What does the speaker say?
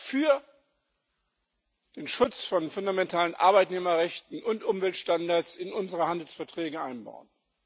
für den Schutz von fundamentalen Arbeitnehmerrechten und Umweltstandards in unsere Handelsverträge einbauen.